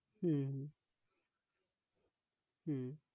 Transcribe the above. হম হম